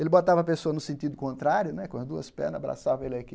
Ele botava a pessoa no sentido contrário né, com as duas pernas, abraçava ele aqui.